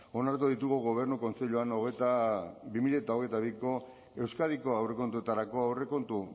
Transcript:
onartuko ditugu gobernu kontseiluan bi mila hogeita biko euskadiko aurrekontuetarako aurrekontu